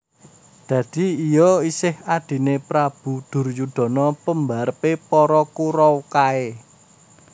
Dadi iya isih Adhine Prabu Duryudana pembarepe para Kuraw kae